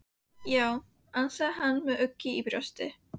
Já, ansaði hann með ugg í brjósti.